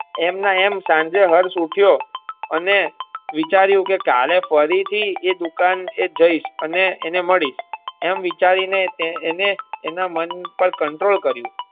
એમ ને એમ હર્ષ સાંજે ઉઠ્યો અને વિચાર્યું કે કાલે ફરી થી એ દુકાન એ જઈશ અને એને મળીશ એમ વિચારી ને એને એના મન પર control કર્યું.